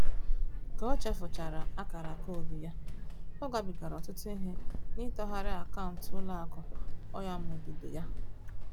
Ka o chefuchara AKARA koodu ya, ọ gabigara ọtụtụ ihe n'ịtọgharị akaụntụ ụlọakụ ọnyamụdụdọ ya